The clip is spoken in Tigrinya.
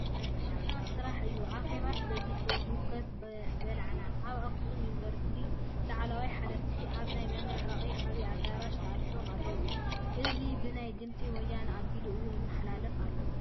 ድኻም ጥራሕ እዩ ኣኼባስ በዚሑ ህውከት በላዕና ! ኣብ ኣክሱም ዩኒቨርስቲ ላዕሎዎት ሓለፍቲ ኣብ ናይ መመረቂ ዓብይ ኣዳራሽ ተኣኪቦም ኣለው። እዚ ብናይ ድምፂ ወያነ ኣቢሉ እውን ይመሓላለፍ ኣሎ።